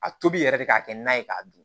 A tobi yɛrɛ de ka kɛ nan ye k'a dun